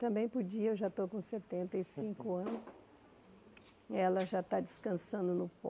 Também podia, eu já estou com setenta e cinco anos, ela já está descansando no pó.